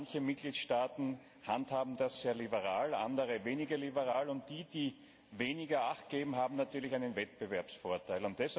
Manche Mitgliedstaaten handhaben das sehr liberal, andere weniger liberal, und die, die weniger Acht geben, haben natürlich einen Wettbewerbsvorteil.